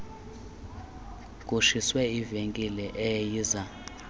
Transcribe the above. kutshiswe ivenkile eyayiza